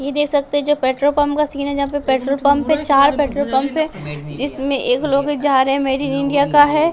ये देख सकते हैं जो पेट्रोल पंप का सीन पेट्रोल पंप है चार पेट्रोल पंप है जिसमें एक लोग जा रहे मेड इन इंडिया का है।